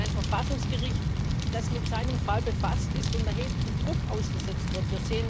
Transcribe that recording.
Wir sehen ein Verfassungsgericht, das mit seinem Fall befasst ist und erheblichem Druck ausgesetzt wird.